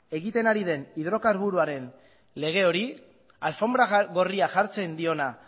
egiten ari den hidrokarburoen lege hori alfonbra gorria jartzen diona